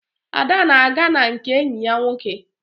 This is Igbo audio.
Ada na-aga na nke enyi ya nwoke